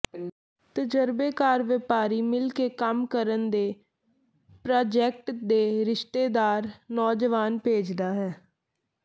ਤਜਰਬੇਕਾਰ ਵਪਾਰੀ ਮਿਲ ਕੇ ਕੰਮ ਕਰਨ ਦੇ ਪ੍ਰਾਜੈਕਟ ਦੇ ਰਿਸ਼ਤੇਦਾਰ ਨੌਜਵਾਨ ਭੇਜਦਾ ਹੈ